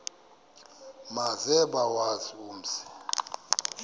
maze bawazi umzi